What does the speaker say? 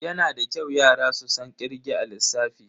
Yana da kyau yara su san kirge a lissafi.